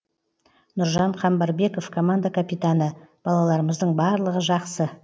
нұржан қамбарбеков команда капитаны балаларымыздың барлығы жақсы